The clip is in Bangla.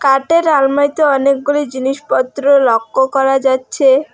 খাটের আলমারিতে অনেকগুলি জিনিসপত্র লক্য করা যাচ্ছে।